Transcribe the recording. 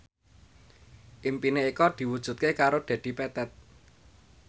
impine Eko diwujudke karo Dedi Petet